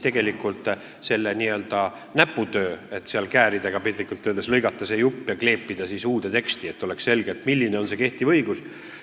Tegelikult käib jutt sellest n-ö näputööst, et kääridega, piltlikult öeldes, lõigata jupp välja ja kleepida siis uude teksti, et oleks selge, milline on kehtiv õigus.